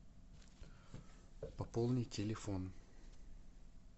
пополни телефон